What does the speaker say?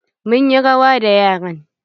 Mun yi rawa da yaran.